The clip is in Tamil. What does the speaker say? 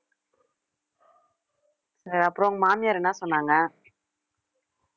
அஹ் அப்புறம் உன் மாமியார் என்ன சொன்னாங்க